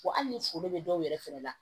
Wa hali ni foro bɛ dɔw yɛrɛ fɛnɛ la